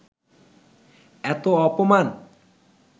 এত অপমান